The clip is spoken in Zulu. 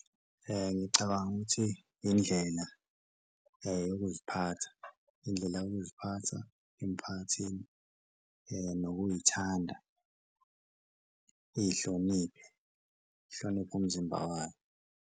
Ngicabanga ukuthi indlela yokuziphatha, indlela yokuziphatha emphakathini nokuyithanda, iyihloniphe, ihloniphe umzimba wayo.